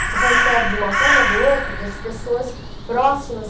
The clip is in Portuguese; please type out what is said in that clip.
Você recebe, de uma forma ou do outro, dessas pessoas próximas.